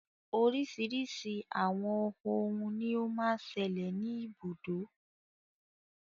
Oríṣiríṣi àwọn òhún ní o má ń ṣẹlẹ̀ ní ibùdó.